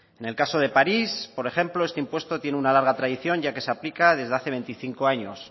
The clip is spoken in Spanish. en el caso de parís por ejemplo este impuesto tiene una larga tradición ya que se aplica desde hace veinticinco años